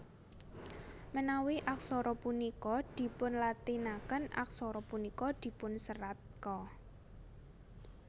Manawi aksara punika dipunlatinaken aksara punika dipunserat Ka